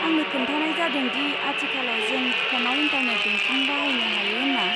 आंनो खोन्थानाय जादों दि आथिखालाव जों फ'नआव इन्टारनेट बेंकिं बाहायनो हायो होन्ना।